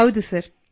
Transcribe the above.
ಹೌದು ಸರ್